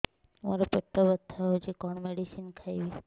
ମୋର ପେଟ ବ୍ୟଥା ହଉଚି କଣ ମେଡିସିନ ଖାଇବି